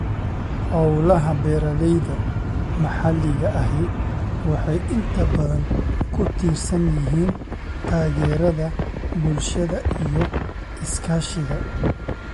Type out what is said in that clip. Hawlaha beeralayda maxalliga ahi waxay inta badan ku tiirsan yihiin taageerada bulshada iyo iskaashiga.